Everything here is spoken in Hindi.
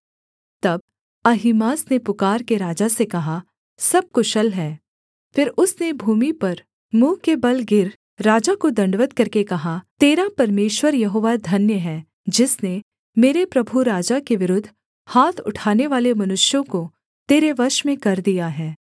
तब अहीमास ने पुकारके राजा से कहा सब कुशल है फिर उसने भूमि पर मुँह के बल गिर राजा को दण्डवत् करके कहा तेरा परमेश्वर यहोवा धन्य है जिसने मेरे प्रभु राजा के विरुद्ध हाथ उठानेवाले मनुष्यों को तेरे वश में कर दिया है